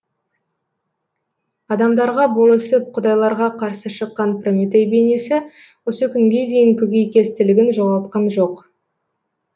адамдарға болысып құдайларға қарсы шыққан прометей бейнесі осы күнге дейін көкейкестілігін жоғалтқан жоқ